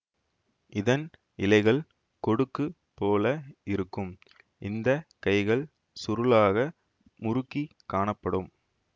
இதன் இலைகள் கொடுக்குப் போல இருக்கும் இந்த கைகள் சுருளாக முறுக்கிக் காணப்படும்